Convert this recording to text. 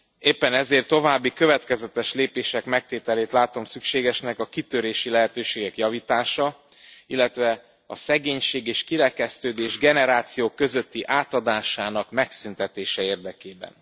Éppen ezért további, következetes lépések megtételét látom szükségesnek a kitörési lehetőségek javítása, illetve a szegénység és kirekesztődés generációk közötti átadásának megszüntetése érdekében.